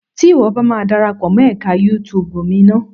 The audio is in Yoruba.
Tí ìwọ bá ma darapọ̀ mọ́ ẹka YouTube mi ná.